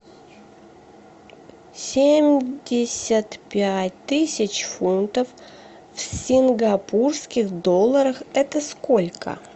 семьдесят пять тысяч фунтов в сингапурских долларах это сколько